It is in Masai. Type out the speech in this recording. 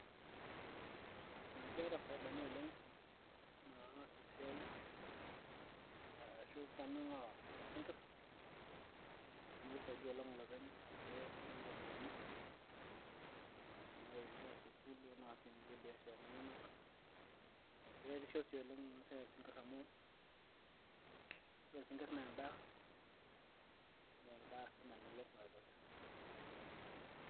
aa keeta faidani oleng naa esiai ashu farming oosinkirr amu kisaidia oleng olopeny peyie etumi iropiyiani ee narewie inkera sukuul oonaasie inkulie biasharani enyenak keretisho sii oleng ena siai oosinkirr amu ore isinkirr naa endaa naa endaa sii namelok naret osesen.